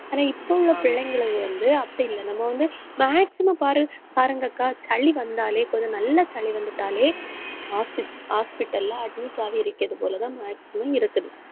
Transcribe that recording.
ஆனா, இப்ப உள்ள பிள்ளைங்களுக்கு வந்து அப்படி இல்லை. நம்ம வந்து, maximum பாரு பாருங்கக்கா, சளி வந்தாலே, கொஞ்சம் நல்லா சளி வந்துட்டாலே, hosp~ hospital ல admit ஆகி இருக்கிறது போலதான் maximum இருக்குது.